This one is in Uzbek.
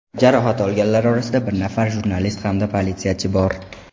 Jarohat olganlar orasida bir nafar jurnalist hamda politsiyachi bor.